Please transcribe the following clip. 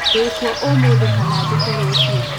wĩkuo ũmũthĩ kana njũke rũciũ?